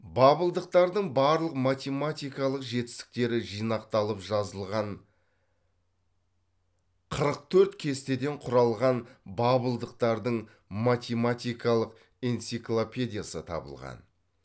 бабылдықтардың барлық математикалық жетістіктері жинақталып жазылған қырық төрт кестеден құралған бабылдықтардың математикалық энциклопедиясы табылған